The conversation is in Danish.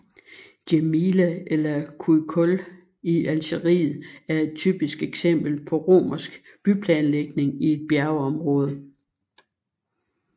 Djémila eller Cuicul i Algeriet er et typisk eksempel på romersk byplanlægning i et bjergområde